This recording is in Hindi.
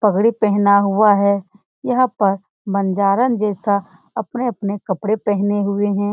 पगड़ी पहना हुआ है यह पर बंजारन जैसा अपने-अपने कपड़े पेहने हुए है ।